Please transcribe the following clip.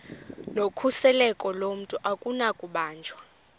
nokhuseleko lomntu akunakubanjwa